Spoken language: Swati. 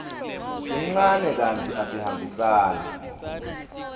sincane kantsi asihambisani